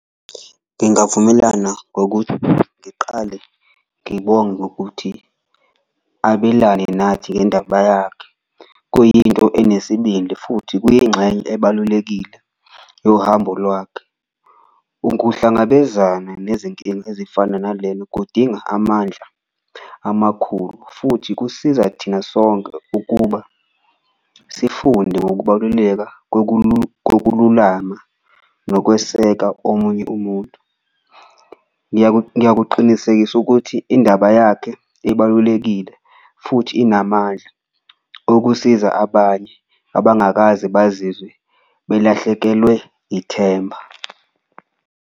Ngingavumelana ngokuthi ngiqale ngibonge ngokuthi abelane nathi ngendaba yakhe, kuyinto enesibindi futhi kuyingxenye ebalulekile yohambo lwakhe. Ukuhlangabezana nezinkinga ezifana nalena kudinga amandla amakhulu futhi kusiza thina sonke ukuba sifunde ngokubaluleka kokululama nokweseka omunye umuntu. Ngiyakuqinisekisa ukuthi indaba yakhe ibalulekile futhi inamandla okusiza abanye abangakaze bazizwe belahlekelwe ithemba.